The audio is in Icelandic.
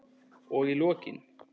Og í lokin.